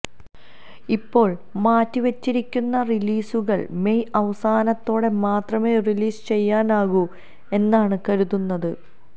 ഇപ്പോള് മാറ്റിവച്ചിരിക്കുന്ന റിലീസുകള് മെയ് അവസാനത്തോടെ മാത്രമേ റിലീസ് ചെയ്യാനാകൂ എന്നാണ് കരുതുന്നത്